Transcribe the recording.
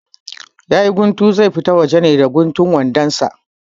Yayi guntu, zai fita waje ne da guntun wandon sa?